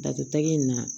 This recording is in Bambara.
Datugu in na